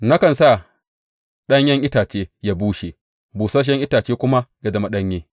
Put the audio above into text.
Nakan sa ɗanyen itace ya bushe, busasshen itace kuma ya zama ɗanye.